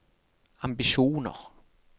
ambisjoner